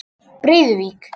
Breiðuvík